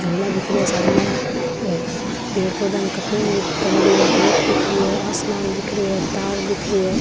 झूला दिख रा है सामे और पेड़ पौधा की कटिंग करेडी है रेत दिख री है आसमान दिख रो है तार दिख रो है।